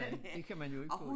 Nej det kan man jo ikke få